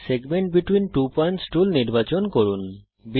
segment between two points tool নির্বাচন করুন